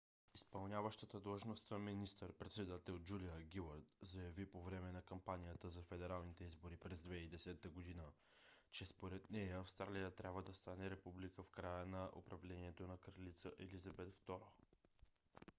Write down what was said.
изпълняващата длъжността министър-председател джулия гилард заяви по време на кампанията за федералните избори през 2010 г. че според нея австралия трябва да стане република в края на управлението на кралица елизабет ii